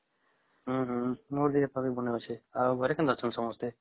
ହଁ ହଁ ମୋ ଦେହ ପା ବି ଭଲ ଅଛେ ଆଉ ଘରେ କେମିତି ଅଛନ୍ତି ସମସ୍ତେ ?